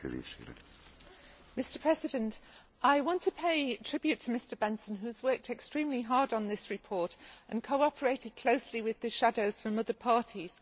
Mr President, I want to pay tribute to Mr Bendtsen who has worked extremely hard on this report and cooperated closely with the shadows from other parties.